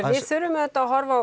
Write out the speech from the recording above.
við þurfum auðvitað að horfa á